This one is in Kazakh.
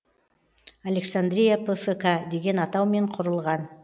александрия пфк деген атаумен құрылған